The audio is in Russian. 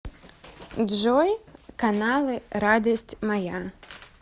джой каналы радость моя